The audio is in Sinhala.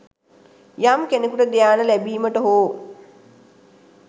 යම් කෙනකුට ධ්‍යාන ලැබීමට හෝ